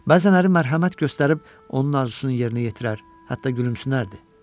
Bəzənləri mərhəmət göstərib onun arzusunu yerinə yetirər, hətta gülümsünərdi.